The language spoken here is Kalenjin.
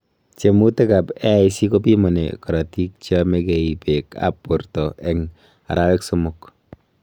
tiemutik ap AIC kopimani karatik cheamegei peek ap porto eng arawek somok